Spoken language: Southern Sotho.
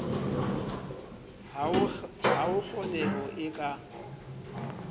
ha ho kgoneho e ka